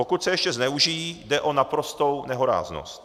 Pokud se ještě zneužijí, jde o naprostou nehoráznost.